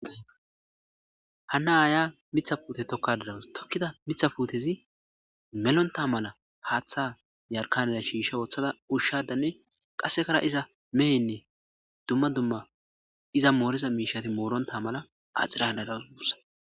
hanna aaya mitha puute tokkadadawas tokkida mitha puutezi melonta mala paaththa yarkaneda shiisha woththada ushshadanne qassekara iza mehenne dumma dumma iza mooriza miishati mooronta mala axiradadagussa